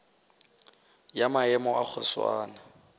ya maemo a go swana